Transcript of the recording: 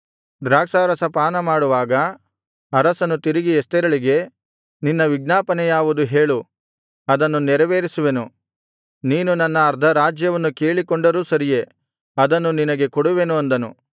ದ್ರಾಕ್ಷಾರಸ ಪಾನಮಾಡುವಾಗ ಅರಸನು ತಿರುಗಿ ಎಸ್ತೇರಳಿಗೆ ನಿನ್ನ ವಿಜ್ಞಾಪನೆ ಯಾವುದು ಹೇಳು ಅದನ್ನು ನೆರವೇರಿಸುವೆನು ನೀನು ನನ್ನ ಅರ್ಧರಾಜ್ಯವನ್ನು ಕೇಳಿಕೊಂಡರೂ ಸರಿಯೇ ಅದನ್ನು ನಿನಗೆ ಕೊಡುವೆನು ಅಂದನು